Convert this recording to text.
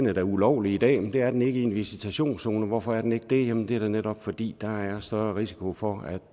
er da ulovlig i dag men det er den ikke i en visitationszone hvorfor er den ikke det jamen det er da netop fordi der er større risiko for